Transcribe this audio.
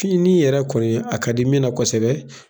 Finin yɛrɛ kɔni, a ka di min na kosɛbɛ.